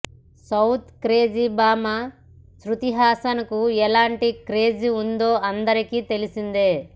south crazy భామ శ్రుతిహాసన్కు ఎలాంటి క్రేజ్ ఉందో అందరికి తెలిసిందే